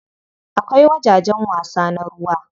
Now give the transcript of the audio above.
Akwai wajajen wasa na ruwa.